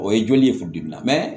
O ye joli ye funteni na mɛ